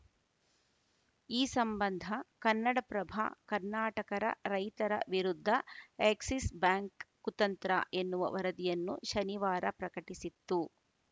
ಈ ಸಂಬಂಧ ಕನ್ನಡಪ್ರಭ ಕರ್ನಾಟಕರ ರೈತರ ವಿರುದ್ಧ ಎಕ್ಸಿಸ್‌ ಬ್ಯಾಂಕ್‌ ಕುತಂತ್ರ ಎನ್ನುವ ವರದಿಯನ್ನು ಶನಿವಾರ ಪ್ರಕಟಿಸಿತ್ತು